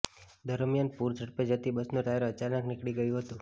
દરમિયાન પુર ઝડપે જતી બસનું ટાયર અચાનક નીકળી ગયું હતું